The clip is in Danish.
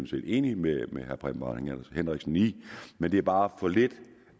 set enig med herre preben bang henriksen i men det er bare for lidt